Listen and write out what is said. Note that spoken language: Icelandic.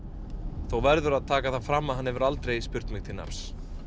þó verður að taka það fram að hann hefur aldrei spurt mig til nafns